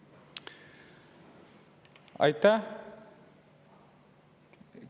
Aitäh!